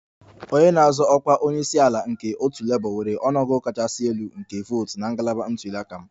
Onye na-azọ ọkwa onye isi ala nke otu Labour nwere ọnụ ọgụgụ kachasị elu nke votu na ngalaba ntuli aka m